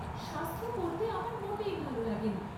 শাস্ত্র পড়তে আমার মোটে ভাল লাগে না।